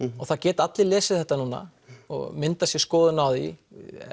og það geta allir lesið þetta núna og myndað sér skoðun á því